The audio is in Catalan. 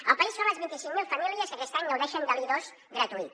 el país són les vint cinc mil famílies que aquest any gaudeixen de l’i2 gratuït